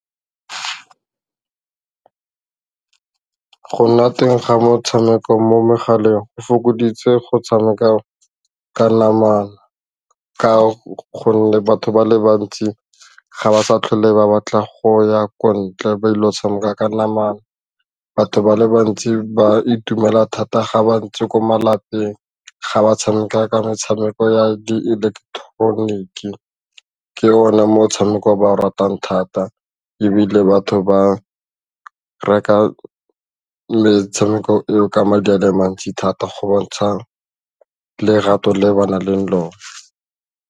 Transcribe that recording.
Go nna teng ga motshameko mo megaleng go fokoditse go tshameka ka namana ka gonne batho ba le bantsi ga ba sa tlhole ba batla go ya ko ntle ba ile go tshameka ka namana, batho ba le bantsi ba itumela thata ga ba ntse ko malapeng ga ba tshameka ka metshameko ya di eleketeroniki, ke one motshameko o ba o ratang thata ebile batho ba reka metshameko eo ka madi a le mantsi thata go bontsha lerato le ba nang le lone.